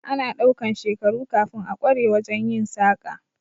Ana ɗaukan shekaru kafin a kware wajen yin saƙa